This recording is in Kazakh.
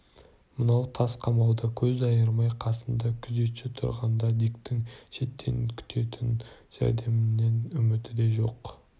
мына тас қамауда көз айырмай қасында күзетші тұрғанда диктің шеттен күтетін жәрдемнен үміті де жоқ